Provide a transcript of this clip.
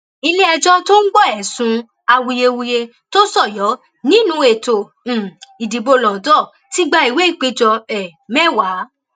iléẹjọ tó ń gbọ ẹsùn awuyewuye tó sọyọ nínú ètò um ìdìbò londo ti gba ìwé ìpéjọ um mẹwàá